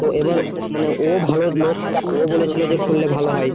তো এবার ও মানে ভালো লোক ও বলেছিলো খুললে ভালো হয়।